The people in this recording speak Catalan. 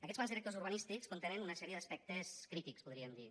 aquests plans directors urbanístics contenen una sèrie d’aspectes crítics podríem dir